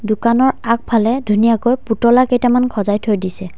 দোকানৰ আগফালে ধুনীয়াকৈ পুতলা কেইটামান খজাই থৈ দিছে।